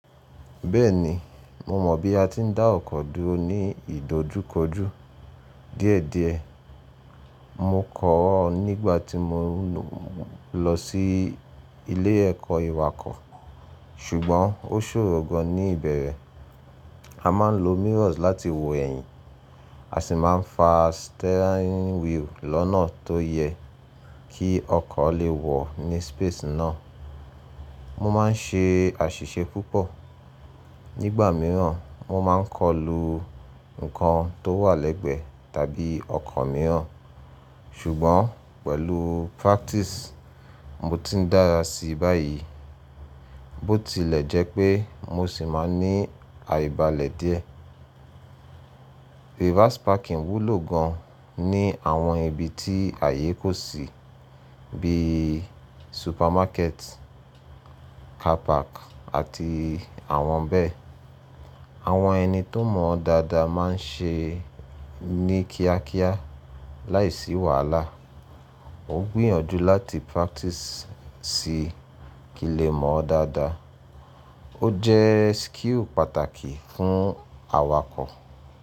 Bẹ́ẹ̀ni, mó mọ̀ bí a ti ń dá ọkọ̀ dúró ní ìdojúkojú díẹ̀díẹ̀. Mó kọ̀ ọ́ nígbà tí mo lọ sí ilé ẹ̀kọ́ ìwakọ̀, ṣùgbọ́n ó ṣòro gàn ní ìbẹ̀rẹ̀. A máa ń lo mirrors láti wo ẹ̀yìn, a sì máa ń fa steering wheel lọ́nà tó yẹ kí ọkọ̀ lè wọ̀ ní space náà. Mo máa ń ṣe àṣìṣe púpọ̀. Nígbà mìíràn, moó máa ń kọ lú nǹkan tó wà lẹ́gbẹ̀ẹ́ tàbí ọkọ̀ mìíràn, ṣùgbọ́n pẹ̀lú practice, mo ti dára sí i báyìí. Bó tilẹ̀ jẹ́ pé mó sì máa ní àìbalẹ̀ díẹ̀. Reverse parking wúlò gàn ní àwọn ibi tí ààyè kò sì bí supermarket, car park àti àwọn bẹ́ẹ̀. Àwọn ẹni tó mọ̀ dáadáa máa ń ṣe ní kíákíá láìsí wàhálà. Ó gbìyànjú láti practice sí i kí o lè mọ̀ dáadáa. Ó jẹ́ skill pàtàkì fún awakọ̀.